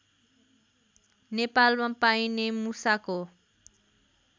नेपालमा पाइने मुसाको